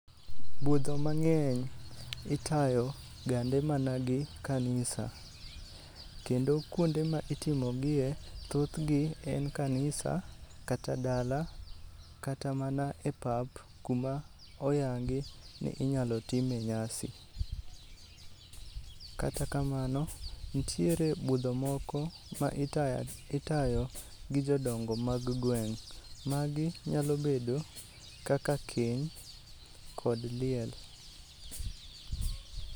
Budho mang'eny itayo gande mana gi kanisa. Kendo kuonde ma itimogie thothgi en kanisa, kata dala kata mana e pap kuma oyangi ni inyalo time nyasi. Kata kamano, nitire budho kmoko ma itayo gi jodongo mag gweng'. Magi nyalo bedo kaka keny, kod liel.